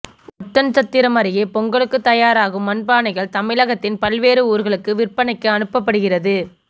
ஒட்டன்சத்திரம் அருகே பொங்கலுக்கு தயாராகும் மண் பானைகள் தமிழகத்தின் பல்வேறு ஊர்களுக்கு விற்பனைக்கு அனுப்பப்படுகிறது